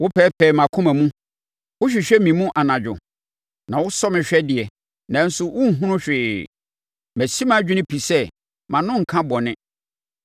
Wopɛɛpɛɛ mʼakoma mu, wohwehwɛ me mu anadwo, na wosɔ me hwɛ deɛ, nanso worenhunu hwee; masi madwene pi sɛ mʼano renka bɔne.